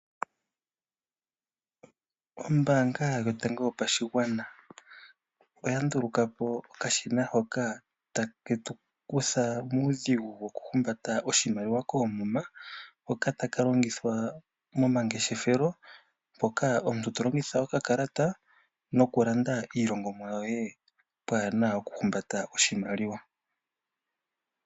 Ombanga yotango yopashigwana oya ndulukapo okashina hoka ta ketu kutha muudhigu woku humbata oshimaliwa koomuma, hoka taka longithwa momangeshefelo moka omuntu to longitha okakalata noku landa iilandomwa yoye, pwaana oku humbata oshimaliwa.